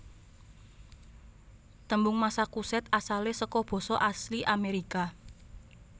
Tembung Massachusetts asalé saka basa asli Amérika